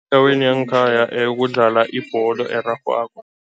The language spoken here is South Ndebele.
Endaweni yangekhaya kudlalwa ibholo erarhwako.